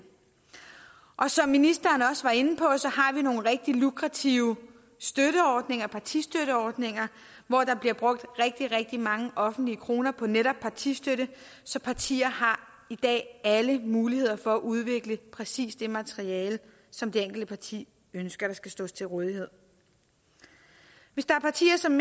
og som ministeren også var inde på har vi nogle rigtig lukrative partistøtteordninger hvor der bliver brugt rigtig rigtig mange offentlige kroner på netop partistøtte så partier har i dag alle muligheder for at udvikle præcis det materiale som det enkelte parti ønsker at stille til rådighed hvis der er partier som